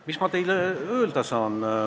Mis ma teile öelda saan?